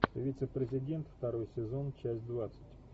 вице президент второй сезон часть двадцать